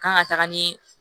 Kan ka taga ni